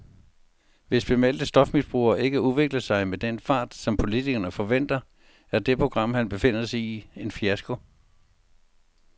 Hvis bemeldte stofmisbrugere ikke udvikler sig med den fart, som politikerne forventer, er det program, han befinder sig i, en fiasko.